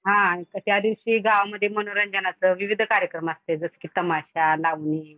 हा त्या दिवशी गाव मध्ये मनोरंजनाचं विविध कार्यक्रम असत्या जस काय तमाशा, लावणी.